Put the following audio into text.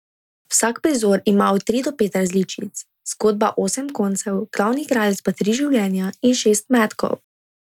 Vsak prizor ima od tri do pet različic, zgodba osem koncev, glavni igralec pa tri življenja in šest metkov.